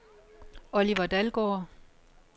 Oliver Dalgaard